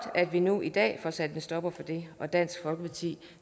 at vi nu i dag får sat en stopper for det og dansk folkeparti